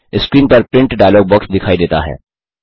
screen पर print dialog box दिखाई देता है